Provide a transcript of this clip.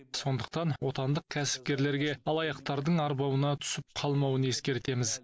сондықтан отандық кәсіпкерлерге алаяқтардың арбауына түсіп қалмауын ескертеміз